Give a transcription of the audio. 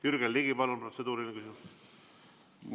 Jürgen Ligi, palun, protseduuriline küsimus!